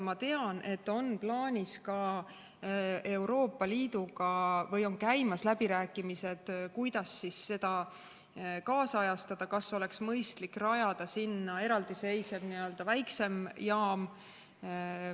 Ma tean, et Euroopa Liiduga on käimas läbirääkimised, kuidas seda kaasajastada ja kas oleks mõistlik rajada sinna eraldiseisev väiksem jaam.